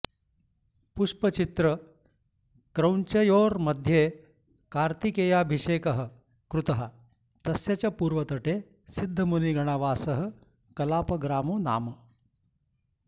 पुष्पचित्रक्रौञ्चयोर्मध्ये कार्तिकेयाभिषेकः कृतः तस्य च पूर्वतटे सिद्धमुनिगणावासः कलापग्रामो नाम